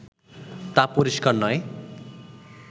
তা পরিষ্কার নয়